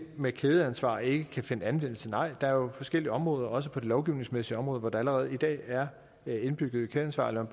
med kædeansvar ikke kan finde anvendelse nej der er jo forskellige områder også på det lovgivningsmæssige område hvor der allerede i dag er indbygget kædeansvar lad